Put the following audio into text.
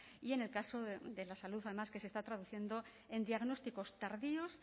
y en el caso de la salud además que se está traduciendo en diagnósticos tardíos